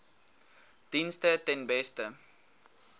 dienste ten beste